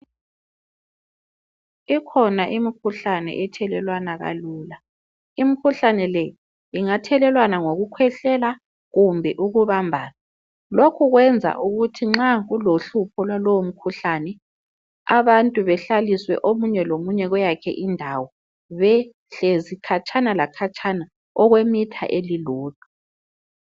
Ikhona imkhuhlane ethelelwana kalula Imkhuhlane le ingathelelwana ngokukhwehlela kumbe ukubambana Lokhu kwenza ukuthi nxa ulohlupho lwalowo mkhuhlane abantu behlaliswe omunye lomunye kweyakhe indawo behlezi khatshana lakhatshana okwe metre elilodwa